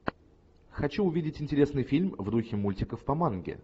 хочу увидеть интересный фильм в духе мультиков по манге